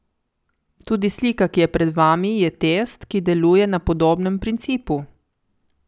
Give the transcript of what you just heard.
Tudi slika, ki je pred vami je test, ki deluje na podobnem principu.